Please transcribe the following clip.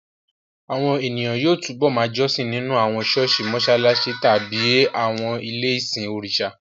Àwọn ènìyàn yóò túbọ̀ ma jọ́sìn nínú àwọn ṣọ́ọ̀ṣì, mọṣáláṣí tàbí àwọn ilé-ìsìn òrìṣà